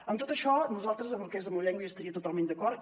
amb tot això nosaltres amb el que és la llengua hi estaríem totalment d’acord